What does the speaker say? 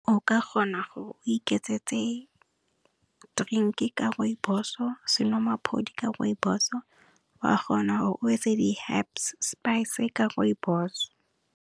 O ka kgona gore o iketsetse trinki ka Rooibos-o, senwamaphodi ka Rooibos-o, wa kgona gore o etse di herbs spice ka Rooibos-o.